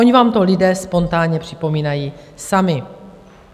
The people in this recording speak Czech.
Oni vám to lidé spontánně připomínají sami.